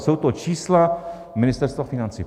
Jsou to čísla Ministerstva financí.